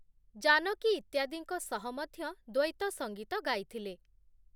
ଜାନକୀ ଇତ୍ୟାଦିଙ୍କ ସହ ମଧ୍ୟ ଦ୍ଵୈତ ସଙ୍ଗୀତ ଗାଇଥିଲେ ।